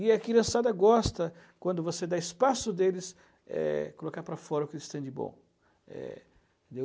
E a criançada gosta, quando você dá espaço deles, é, colocar para fora o que eles têm de bom. É,